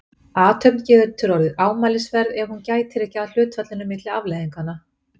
Athöfn getur orðið ámælisverð ef hún gætir ekki að hlutfallinu milli afleiðinganna.